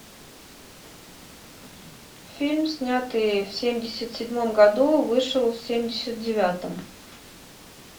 фильм снятый в семьдесят седьмом году вышел в семьдесят девятом